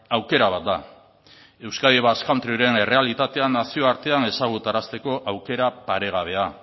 aukera bat da euskadi basque countryren errealitatean nazioartean ezagutarazteko aukera paregabea